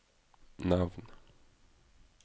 navn